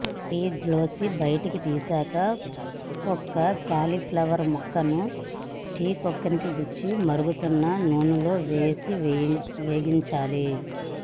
ఫ్రిజ్లోంచి బయటికి తీశాక ఒక్కో క్యాలీఫ్లవర్ ముక్కను స్టిక్కు గుచ్చి మరుగుతున్న నూనెలో వేసి వేగించాలి